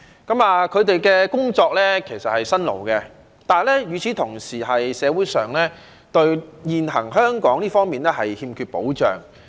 他們的工作其實是辛勞的，但與此同時，現時香港社會上，對這些工作者欠缺保障。